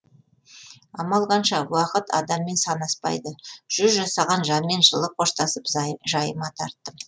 амал қанша уақыт адаммен санаспайды жүз жасаған жанмен жылы қоштасып жайыма тарттым